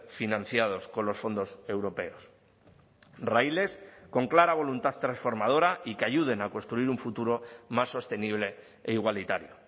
financiados con los fondos europeos raíles con clara voluntad transformadora y que ayuden a construir un futuro más sostenible e igualitario